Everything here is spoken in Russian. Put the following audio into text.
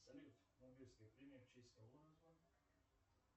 салют нобелевская премия в честь кого названа